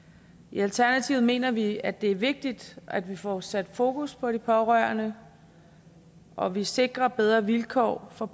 i alternativet mener vi at det er vigtigt at vi får sat fokus på de pårørende og at vi sikrer bedre vilkår for